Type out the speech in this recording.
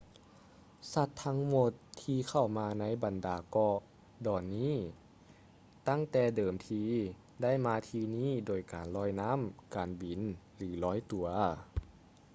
ສັດທັງໝົດ ທີ່ເຂົ້າມາໃນບັນດາເກາະດອນນີ້ຕັ້ງແຕ່ເດີມທີ ໄດ້ມາທີ່ນີ້ໂດຍການລອຍນ້ຳ ການບິນ ຫຼື ລອຍຕົວ